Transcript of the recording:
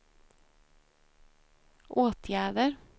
åtgärder